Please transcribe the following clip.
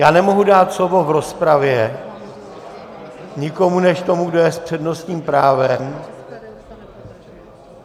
Já nemohu dál slovo v rozpravě nikomu než tomu, kdo je s přednostním právem.